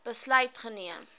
besluit geneem